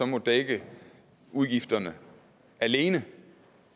må dække udgifterne alene